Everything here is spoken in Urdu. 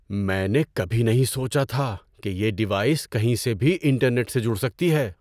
میں نے کبھی نہیں سوچا تھا کہ یہ ڈیوائس کہیں سے بھی انٹرنیٹ سے جڑ سکتی ہے۔